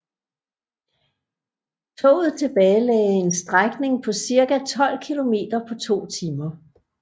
Toget tilbagelagde en strækning på cirka 12 kilometer på to timer